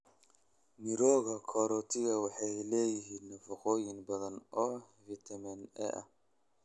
Mirooga karootiga waxay leeyihiin nafaqooyin badan oo fiitamiin A ah.